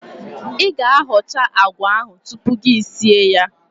I ga-achọ agwa ahụ tupu gi esie ya.